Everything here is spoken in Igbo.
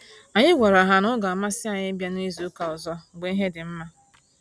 Anyị gwara ha na-ọ ga amasị anyị ịbịa na izu ụka ọzọ mgbe ihe dị nma